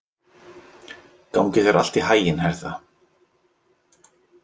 Gangi þér allt í haginn, Hertha.